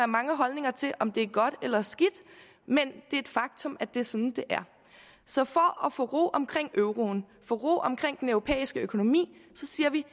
mange holdninger til om det er godt eller skidt men det er et faktum at det er sådan så for at få ro omkring euroen ro omkring den europæiske økonomi siger vi